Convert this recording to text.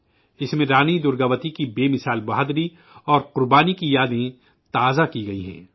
اس میں رانی درگاوتی کے ناقابل تسخیر حوصلے اور قربانی کی یادیں تازہ کی گئی ہیں